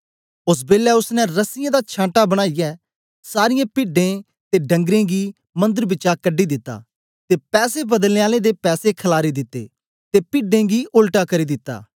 ओस बेलै ओसने रस्सियें दा छांटा बनाईयै सारीयें पिड्डें ते डंगरें गी मंदर बिचा कढी दिता ते पैसे बदलनें आलें दे पैसे खल्लारी दिते ते पिड्डें गी ओल्टा करी दिता